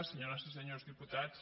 senyores i senyors diputats